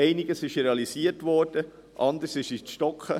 Einiges wurde realisiert, anderes geriet ins Stocken.